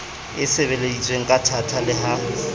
e sebeleditsweng kathata le ha